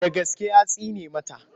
Da gaske ya tsine masa?